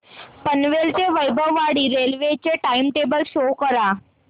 पनवेल ते वैभववाडी रेल्वे चे time table show करा